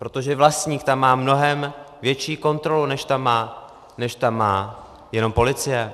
Protože vlastník tam má mnohem větší kontrolu, než tam má jenom policie.